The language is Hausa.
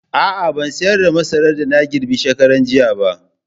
A'a, ban sayar da masaran da na girbe shekaranjiya ba.